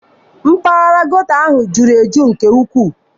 Mpaghara geto ahụ a juru eju nke ukwuu.